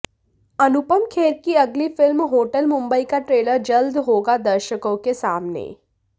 अनुुपम खेर की अगली film hotel Mumbai का ट्रेलर जल्द होगा दर्शकों के सामने